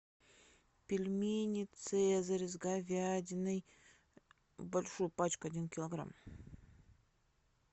пельмени цезарь с говядиной большую пачку один килограмм